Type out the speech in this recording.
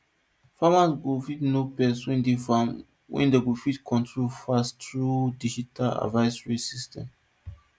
farmers go fit know pest wey dey farm wey dem go fit control fast through digital advisory services